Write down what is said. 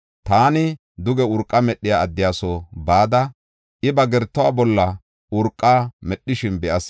Taani duge urqa medhiya addiya soo bada, I ba gertuwa bolla urqa medhishin be7as.